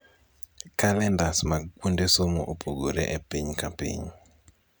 Kalendas mag kuonde somo opogore epiny kapiny.